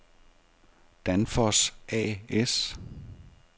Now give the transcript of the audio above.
Danfoss A/S